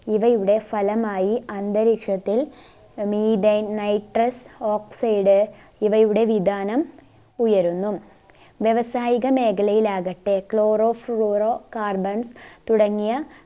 ഇവയുടെ ഫലമായി അന്തരീക്ഷത്തിൽ methyne nitrous oxide ഇവയുടെ വിദാനം ഉയരുന്നു വ്യവസായികമേഖലയിൽ ആകട്ടെ chloro fluoro carbon തുടങ്ങിയ